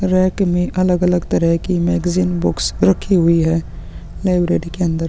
Right में अलग-अलग तरह की मैगज़ीन बुक्स रखी हुई है लाइब्रेरी के अंदर।